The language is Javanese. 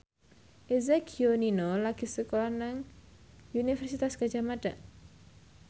Eza Gionino lagi sekolah nang Universitas Gadjah Mada